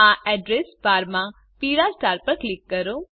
આ address bar માં પીળા સ્ટાર પર ક્લિક કરો